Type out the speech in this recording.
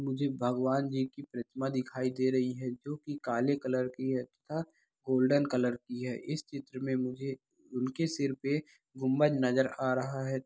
मुझे भगवान जी की प्रतिमा दिखाई दे रही है जो की काले कलर की है तथा गोल्डन कलर की है इस चित्र में मुझे उनके सिर पर गुम्बद नजर आ रहा है।